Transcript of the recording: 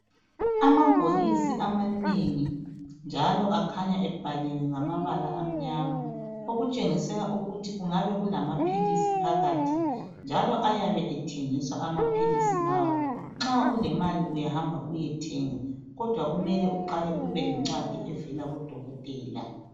Amabhokisi amanengi njalo akhanya ebhaliwe ngambala amnyama okutshengisa ukuthi angabe elamaphilisi phakathi njalo ayabe ethengiswa amaphilisi lawo nxa ulemali uyahamba uyethenga kodwa kumele uqale ube lencwadi evela kudokotela.